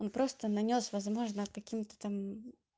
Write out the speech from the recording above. он просто нанёс возможно каким-то там